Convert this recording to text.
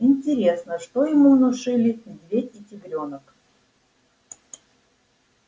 интересно что ему внушили медведь и тигрёнок